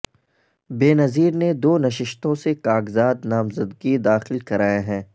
بینظیر نے دو نشستوں سے کاغذات نامزدگی داخل کرائے ہیں